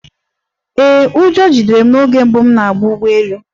Ee, ụjọ jidere m oge mbụ m na-agba ụgbọ elu